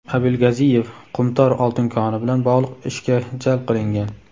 Abilgaziyev "Qumtor" oltin koni bilan bog‘liq ishga jalb qilingan.